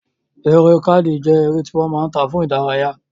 Eré káàdì jẹ́ eré tí wọ́n máa ń ta fún ìdárayá